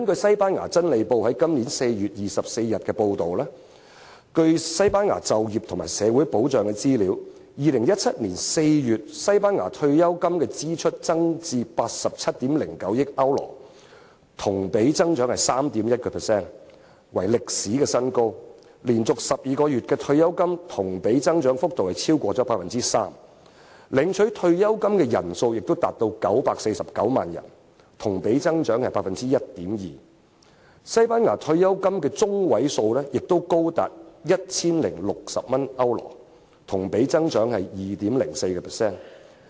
西班牙《真理報》於本年4月24日報道，據西班牙就業和社會保障的資料顯示 ，2017 年4月，西班牙的退休金支出增至87億900萬歐羅，同比增長 3.1%， 創歷史新高；連續12個月的退休金同比增長幅度超過 3%； 領取退休金的人數亦多達949萬人，同比增長 1.2%； 西班牙退休金的中位數亦高達 1,060 歐羅，同比增長 2.04%。